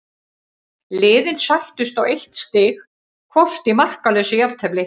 Liðin sættust á eitt stig hvort í markalausu jafntefli.